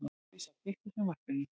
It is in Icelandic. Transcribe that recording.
Lovísa, kveiktu á sjónvarpinu.